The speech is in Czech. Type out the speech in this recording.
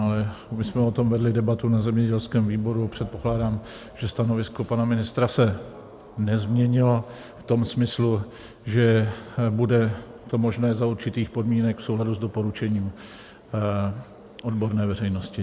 Ale my jsme o tom vedli debatu na zemědělském výboru, předpokládám, že stanovisko pana ministra se nezměnilo v tom smyslu, že bude to možné za určitých podmínek v souladu s doporučením odborné veřejnosti.